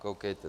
Koukejte.